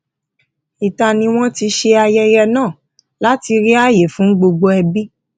ìta ni wọn ti ṣe ayẹyẹ náà láti rí àyè fún gbogbo ẹbí